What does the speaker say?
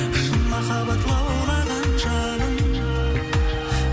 шын махаббат лаулаған жалын